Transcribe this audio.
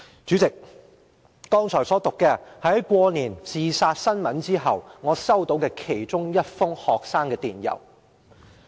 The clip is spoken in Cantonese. "主席，我剛才所讀的，是在新年學生自殺新聞後，我收到的其中一封學生給我的電郵。